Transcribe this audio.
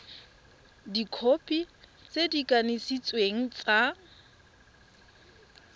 dikhopi tse di kanisitsweng tsa